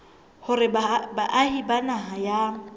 hore baahi ba naha ya